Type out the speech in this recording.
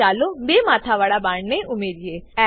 હવે ચાલો બે માથાવાળા બાણને ઉમેરીએ